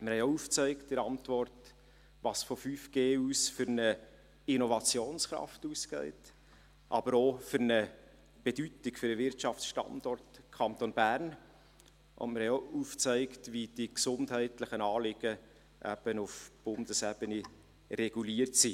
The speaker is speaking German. Wir haben in der Antwort auch aufgezeigt, welche Innovationskraft und welche Bedeutung für den Wirtschaftsstandort Kanton Bern von 5G ausgeht, und wir haben auch aufgezeigt, wie die gesundheitlichen Anliegen eben auf Bundesebene reguliert sind;